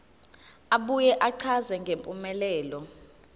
abuye achaze ngempumelelo